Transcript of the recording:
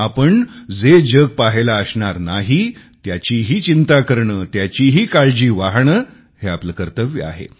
आपण जे जग पहायला असणार नाही त्याचीही चिंता करणे त्याचीही काळजी वाहणे हे आपले कर्तव्य आहे